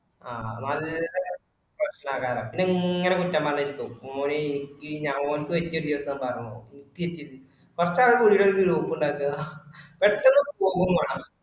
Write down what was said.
ആഹ് അതുമാരി പിന്നെ ഇങ്ങനാ കുറ്റം പരഞ്ഞിരിക്കും. മൊനെ ഇരിക്ക്‌ ഇഞ് അങ്ങോട്ട് വെച് നീട്ടി വെച് ഇരിക്ക്‌. കൊറച്ചാല് പുതിയ പുതിയാ group ഉണ്ടാക്കണ